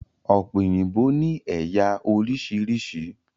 Ọ̀pẹ òyìnbó ni ẹ̀yà oríṣiríṣi